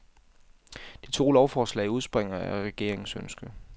De to lovforslag udspringer af regeringens ønske.